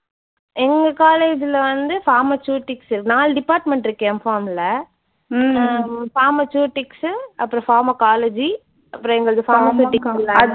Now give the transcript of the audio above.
எங்க college ல வந்து pharmaceutics இருக்கு. நாலு department இருக்கு MPharm ல. ஹம் pharmaceutics உ அப்புறம் pharmacology அப்புறம் எங்களது pharmaceutical analysis